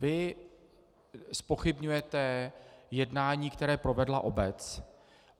Vy zpochybňujete jednání, které provedla obec.